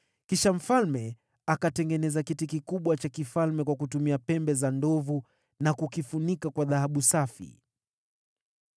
Kisha mfalme akatengeneza kiti kikubwa cha kifalme kwa kutumia pembe za ndovu na kukifunika kwa dhahabu safi.